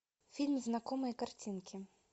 фильм знакомые картинки